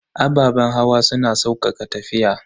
Ababen hawa suna saukaka tafiya.